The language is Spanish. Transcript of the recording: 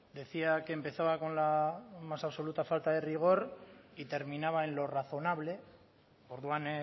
decía que empezaba con la más absoluta falta de rigor y terminaba en lo razonable orduan